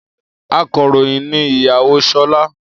Akọ̀ròyìn ni ìyàwó Ṣọlá.